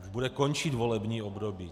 Už bude končit volební období.